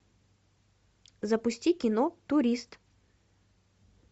запусти кино турист